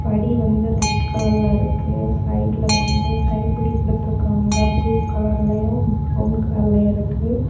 படி வந்து ரெட் கலர்ல இருக்கு. சைடுல வந்து கைப்பிடி கொடுத்திருக்காங்க. ப்ளூ கலர்லயும் பிரவுன் கலர்ல இருக்கு.